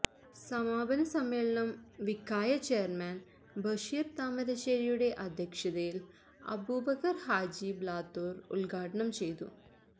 സമാപന സമ്മേളനം വിഖായ ചെയർമാൻ ബശീർ താമരശ്ശേരിയുടെ അധ്യക്ഷതയിൽ അബൂബക്കർ ഹാജി ബ്ലാത്തൂർ ഉദ്ഘാടനം ചെയ്തു